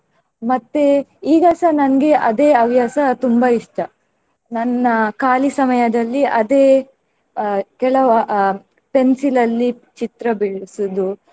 ಮತ್ತೆ ಈಗಸ ನನ್ಗೆ ಅದೇ ಹವ್ಯಾಸ ತುಂಬಾ ಇಷ್ಟ. ನನ್ನ ಖಾಲಿ ಸಮಯದಲ್ಲಿ ಅದೇ ಅಹ್ ಕೆಲವು ಅಹ್ pencil ಅಲ್ಲಿ ಚಿತ್ರ ಬಿಡಿಸುವುದು.